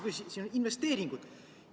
Siin on investeeringud.